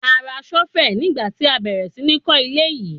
A ra ṣọ́fẹ̀ nígbà tí a bẹ̀rẹ̀ sí ní kó ilé yìí.